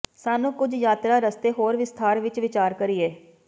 ਸਾਨੂੰ ਕੁਝ ਯਾਤਰਾ ਰਸਤੇ ਹੋਰ ਵਿਸਥਾਰ ਵਿੱਚ ਵਿਚਾਰ ਕਰੀਏ